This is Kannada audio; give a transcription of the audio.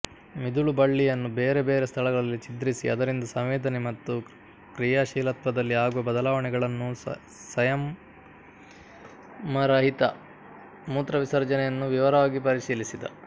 ಮಿದುಳುಬಳ್ಳಿಯನ್ನು ಬೇರೆ ಬೇರೆ ಸ್ಥಳಗಳಲ್ಲಿ ಛಿದ್ರಿಸಿ ಅದರಿಂದ ಸಂವೇದನೆ ಮತ್ತು ಕ್ರಿಯಾಶೀಲತ್ವದಲ್ಲಿ ಆಗುವ ಬದಲಾವಣೆಗಳನ್ನೂ ಸಂಯಮರಹಿತ ಮೂತ್ರವಿಸರ್ಜನೆಯನ್ನೂ ವಿವರವಾಗಿ ಪರಿಶೀಲಿಸಿದ